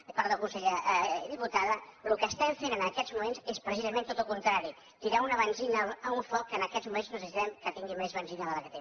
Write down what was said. ai perdó diputada el que estem fent en aquests moments és precisament tot el contrari tirar una benzina a un foc que en aquests moments no necessitem que tingui més benzina de la que té